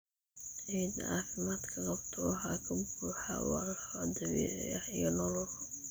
Ciidda caafimaadka qabta waxaa ka buuxa walxo dabiici ah iyo nolol.